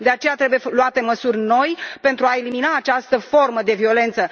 De aceea, trebuie luate măsuri noi pentru a elimina această formă de violență.